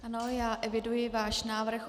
Ano, já eviduji váš návrh.